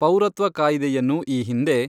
ಪೌರತ್ವ ಕಾಯ್ದೆಯನ್ನು ಈ ಹಿಂದೆ